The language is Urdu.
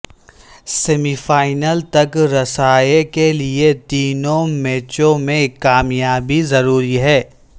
سیمی فائنل تک رسائی کےلئے تینوں میچوںمیں کامیابی ضروری ہے